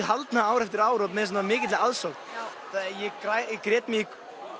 haldna ár eftir ár og með svona mikilli aðsókn ég grét mig